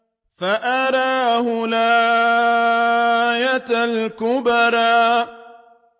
فَأَرَاهُ الْآيَةَ الْكُبْرَىٰ